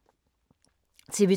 TV 2